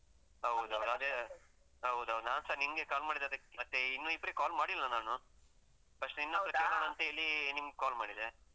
ಹೌದು ಅದೇ. ಹೌದೌದು. ನಾನ್ಸ ನಿಂಗೆ call ಮಾಡಿದದ್ದಕ್ಕೆ. ಮತ್ತೆ ಇನ್ನೂ ಇಬ್ರಿಗ್ call ಮಾಡಿಲ್ಲ ನಾನು, first ನಿನ್ ಹತ್ರ ಕೇಳೋಣಾಂತ ಹೇಳಿ ನಿಮ್ಗ್ call ಮಾಡಿದೆ.